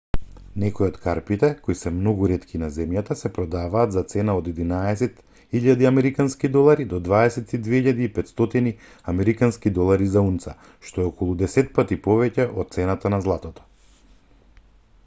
некои од карпите кои се многу ретки на земјата се продадваат за цена од 11 000 американски долари до 22 500 американски долари за унца што е околу десетпати повеќе од цената на златото